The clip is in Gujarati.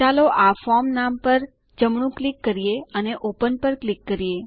ચાલો આ ફોર્મ નામ પર જમણું ક્લિક કરીએ અને ઓપન પર ક્લિક કરીએ